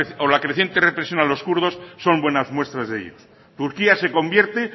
o la creciente represión a los kurdos son buenas muestras de ello turquía se convierte